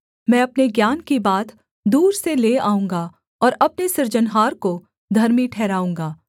मैं अपने ज्ञान की बात दूर से ले आऊँगा और अपने सृजनहार को धर्मी ठहराऊँगा